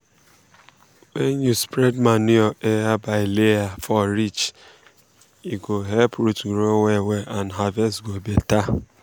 wen you spread manure ayer by layer for ridge e go um help root grow well and harvest go better. um